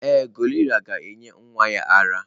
Ee, gorilla ga-enye nwa ya ara.